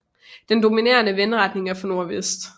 Den dominerende vindretning er fra nordvest